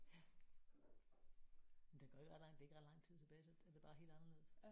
Ja. Men der går jo ikke ret langt det er ikke ret lang tid tilbage så er det bare helt anderledes